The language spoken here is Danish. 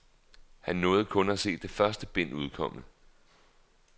Han nåede kun at se det første bind udkomme.